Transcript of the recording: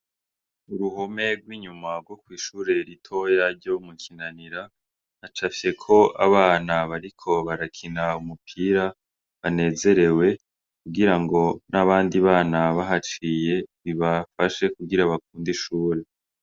Uruhome rw' inyuma rwo kwishure ritoya ryo mu Kinanira hacafyeko abana bariko barakina umupira banezerewe kugira ngo n' abandi bana bahaciye bibafashe kugira bakunde ishure.